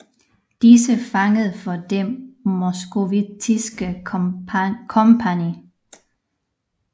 Disse fangede for Det moskovittiske kompagni